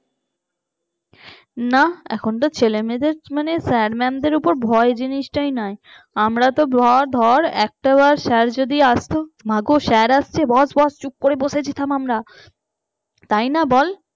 না এখন যা ছেলেমেয়েদের sir mam দেড় উপর ভয় জিনিসটাই নাই। আমরা তো ভয় ধর একটাবার sir যদি আসতো মাগো সে আসছে বস বস চুপ করে বসে যেতাম আমরা। তাই না বল